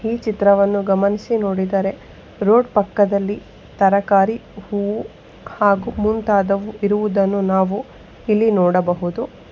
ಈ ಚಿತ್ರವನ್ನು ಗಮನಿಸಿ ನೋಡಿದರೆ ರೋಡ್ ಪಕ್ಕದರಲ್ಲಿ ತರಕಾರಿ ಹೂವು ಹಾಗು ಮುಂತಾದವು ಇರುವುದನ್ನು ನಾವು ಇಲ್ಲಿ ನೋಡಬಹುದು.